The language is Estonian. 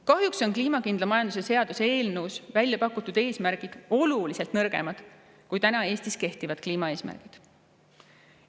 Kahjuks on kliimakindla majanduse seaduse eelnõus välja pakutud eesmärgid oluliselt nõrgemad kui täna Eestis kehtivad kliimaeesmärgid.